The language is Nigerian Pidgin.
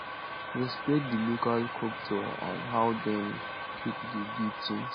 respect di local culture and how dem take dey do things